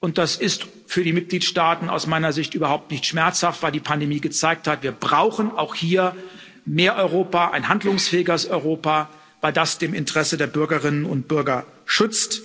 und das ist für die Mitgliedstaaten aus meiner Sicht überhaupt nicht schmerzhaft, weil die Pandemie gezeigt hat Wir brauchen auch hier mehr Europa, ein handlungsfähigeres Europa, weil das dem Interesse der Bürgerinnen und Bürger nützt.